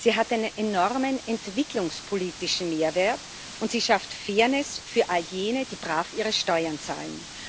Sie hat einen enormen entwicklungspolitischen Mehrwert, und sie schafft Fairness für all jene, die brav ihre Steuern zahlen.